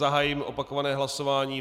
Zahajuji opakované hlasování.